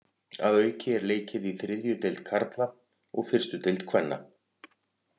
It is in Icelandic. Að auki er leikið í þriðju deild karla og fyrstu deild kvenna.